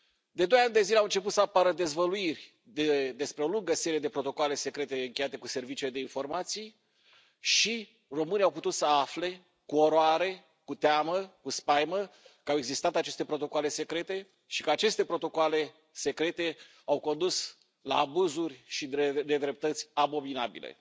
De doi ani de zile au început să apară dezvăluiri despre o lungă serie de protocoale secrete încheiate cu serviciile de informații și românii au putut să afle cu oroare, cu teamă, cu spaimă că au existat aceste protocoale secrete și că aceste protocoale secrete au condus la abuzuri și nedreptăți abominabile.